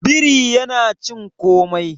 biri yana cin komai